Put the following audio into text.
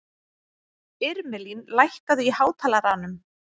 Irmelín, lækkaðu í hátalaranum.